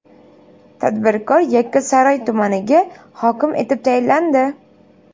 Tadbirkor Yakkasaroy tumaniga hokim etib tayinlandi.